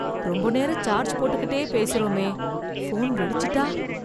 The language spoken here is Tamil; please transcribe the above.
ரொம்ப நேரம் சார்ஜ் போட்டுக்கிட்டே பேசுறோமே போன் வெடிச்சிட்டா?